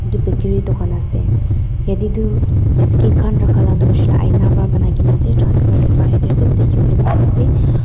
etu bakery dukan ase yateh tuh bis biscuit khan rakhala tuh hoishe leh aina para banai kena ase transparent sobh dekhivole pari ase--